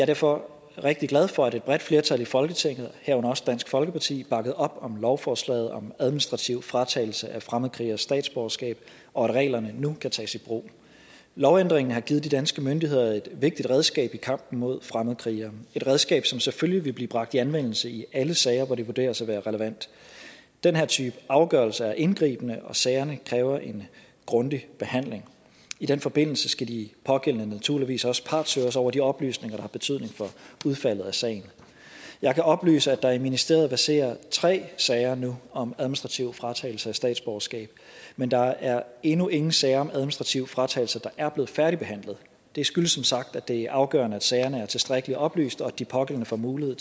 derfor rigtig glad for at et bredt flertal i folketinget herunder også dansk folkeparti bakkede op om lovforslaget om administrativ fratagelse af fremmedkrigeres statsborgerskab og at reglerne nu kan tages i brug lovændringen har givet de danske myndigheder et vigtigt redskab i kampen mod fremmedkrigere et redskab som selvfølgelig vil blive bragt i anvendelse i alle sager hvor det vurderes at være relevant den her type afgørelser er indgribende og sagerne kræver en grundig behandling i den forbindelse skal de pågældende naturligvis også partshøres over de oplysninger der betydning for udfaldet af sagen jeg kan oplyse at der i ministeriet verserer tre sager nu om administrativ fratagelse af statsborgerskab men der er endnu ingen sager om administrativ fratagelse der er blevet færdigbehandlet det skyldes som sagt at det er afgørende at sagerne er tilstrækkeligt oplyst og at de pågældende får mulighed